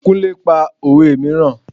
Kúnlẹ́ pa òwe mìíràn.